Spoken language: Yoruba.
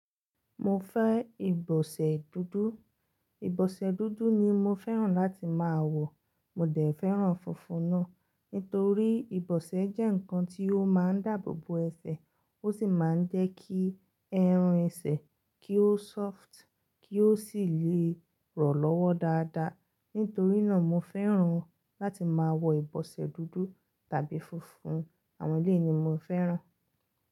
Mo fẹ́ ìbọ̀sẹ̀ dúdú. Ìbọ̀sẹ̀ dúdú ni mo fẹ́ràn láti máa wọ̀. Mo dẹ̀ fẹ́ràn funfun náà. Nítorí ìbọ̀sẹ̀ jẹ́ ǹkan tí ó máa ń dáàbò bo ẹsẹ̀, ó sì máa ń jẹ́ kí ẹran ẹsẹ̀ kí ó soft, kí ó sì lè rọ̀ lọ́wọ́ dáadáa. Nítorí náà, mo fẹ́ràn láti máa wọ ìbọ̀sẹ̀ dúdú tàbí funfun. Àwọn eléèni mo fẹ́ràn.